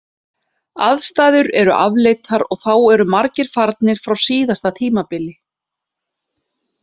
Aðstæður eru afleitar og þá eru margir farnir frá síðasta tímabili.